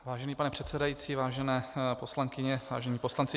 Vážený pane předsedající, vážené poslankyně, vážení poslanci.